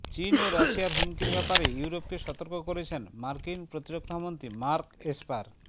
চীন ও রাশিয়ার হুমকির ব্যাপারে ইউরোপকে সতর্ক করেছেন মার্কিন প্রতিরক্ষামন্ত্রী মার্ক এসপার